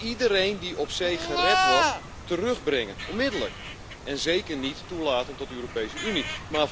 We moeten iedereen die op zee gered wordt, terugbrengen, onmiddellijk, en zeker niet toelaten tot de Europese Unie.